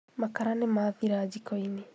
Makara nĩmathira jiko-inĩ